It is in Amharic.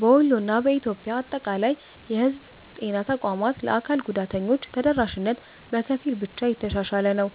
በወሎ እና በኢትዮጵያ አጠቃላይ የህዝብ ጤና ተቋማት ለአካል ጉዳተኞች ተደራሽነት በከፊል ብቻ የተሻሻለ ነው።